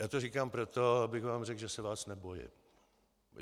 Já to říkám proto, abych vám řekl, že se vás nebojím.